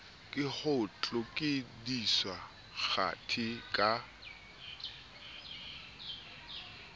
ke ho tlodiswa kgathi ka